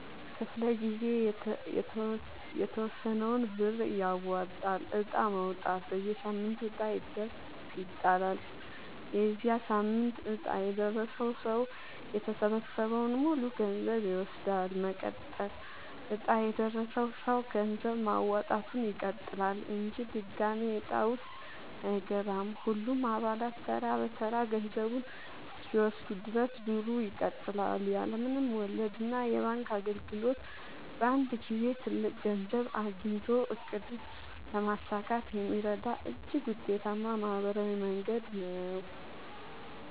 ክፍለ-ጊዜ የተወሰነውን ብር ያዋጣል። ዕጣ ማውጣት፦ በየሳምንቱ ዕጣ ይጣላል። የዚያ ሳምንት ዕጣ የደረሰው ሰው የተሰበሰበውን ሙሉ ገንዘብ ይወስዳል። መቀጠል፦ ዕጣ የደረሰው ሰው ገንዘብ ማዋጣቱን ይቀጥላል እንጂ ድጋሚ ዕጣ ውስጥ አይገባም። ሁሉም አባላት ተራ በተራ ገንዘቡን እስኪወስዱ ድረስ ዙሩ ይቀጥላል። ያለ ምንም ወለድና የባንክ እንግልት በአንድ ጊዜ ትልቅ ገንዘብ አግኝቶ ዕቅድን ለማሳካት የሚረዳ እጅግ ውጤታማ ማህበራዊ መንገድ ነው።